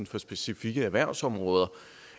for specifikke erhvervsområder